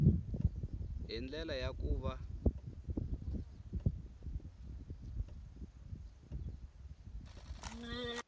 hi ndlela ya ku va